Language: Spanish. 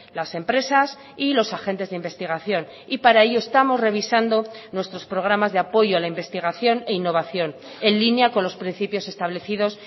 las empresas y los agentes de investigación y para ello estamos revisando nuestros programas de apoyo a la investigación e innovación en línea con los principios establecidos